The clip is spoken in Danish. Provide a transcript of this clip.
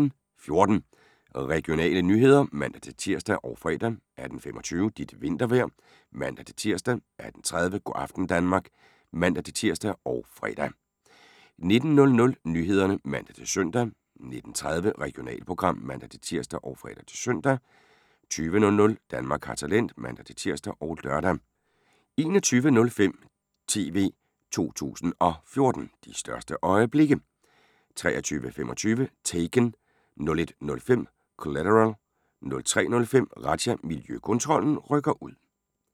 18:14: Regionale nyheder (man-tir og fre) 18:25: Dit vintervejr (man-tir) 18:30: Go' aften Danmark (man-tir og fre) 19:00: Nyhederne (man-søn) 19:30: Regionalprogram (man-tir og fre-søn) 20:00: Danmark har talent (man-tir og lør) 21:05: TV 2 014: De største øjeblikke 23:25: Taken 01:05: Collateral 03:05: Razzia – Miljøkontrollen rykker ud